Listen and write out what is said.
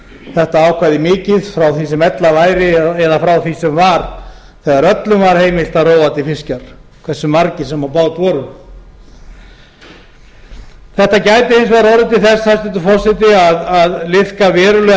þetta ákvæði mikið frá því sem ella væri eða frá því sem var þegar öllum var heimilt að róa til fiskjar hversu margir sem á bát voru þetta gæti ein vegar orðið til þess hæstvirtur forseti að liðka verulega